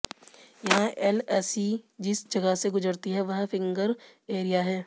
यहां एलएसी जिस जगह से गुजरती है वह फिंगर एरिया है